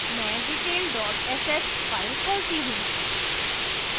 मैं detail dot sh file खोलती हूँ